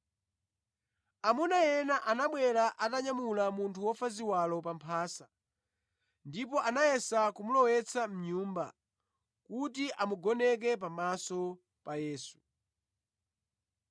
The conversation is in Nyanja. Amuna ena anabwera atanyamula munthu wofa ziwalo pa mphasa ndipo anayesa kumulowetsa mʼnyumba kuti amugoneke pamaso pa Yesu.